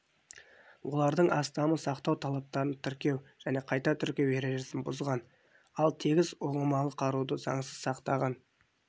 олардың астамы сақтау талаптарын тіркеу және қайта тіркеу ережесін бұзған ал тегіс ұңғымалы қаруды заңсыз сақтаған